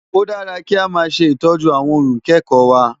Ó dára kí a máa ṣe ìtọ́jú àwọn ohun ìkẹ́kọ̀ọ́ wa.